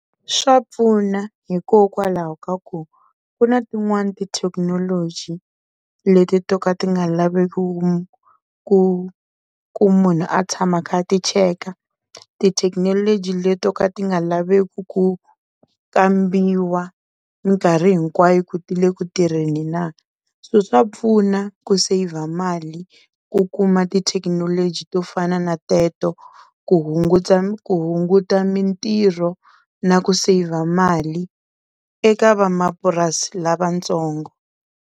Swa pfuna hikokwalaho ka ku ku na tin'wani tithekinoloji leti to ka ti nga lavi ku ku ku munhu a tshama a kha a ti cheka, tithekinoloji leti to ka ti nga laveki ku kambiwa minkarhi hinkwayo ku ti le ku tirheni na so swa pfuna ku saver mali ku kuma tithekinoloji to fana na teto ku hunguta ku hunguta mintirho na ku saver mali eka van'wamapurasi lavatsongo.